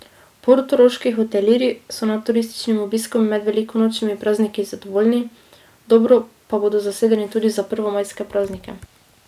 Portoroški hotelirji so nad turističnim obiskom med velikonočnimi prazniki zadovoljni, dobro pa bodo zasedeni tudi za prvomajske praznike.